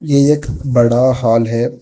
ये एक बड़ा हाल है।